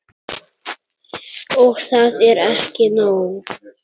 Og það er ekki nóg.